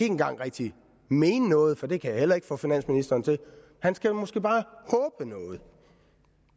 engang rigtig mene noget for det kan jeg heller ikke få finansministeren til han skal måske bare håbe noget